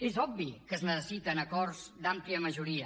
és obvi que es necessiten acords d’àmplia majoria